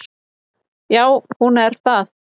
Já hún er það.